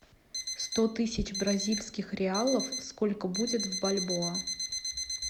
сто тысяч бразильских реалов сколько будет в бальбоа